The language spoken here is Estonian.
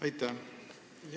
Aitäh!